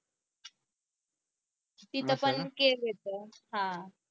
तिथं पण ते येत ना हा